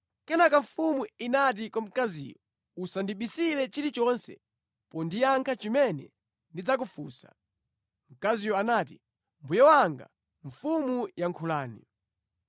Kenaka mfumu inati kwa mkaziyo, “Usandibisire chilichonse pondiyankha chimene ndidzakufunsa.” Mkaziyo anati, “Mbuye wanga mfumu yankhulani.”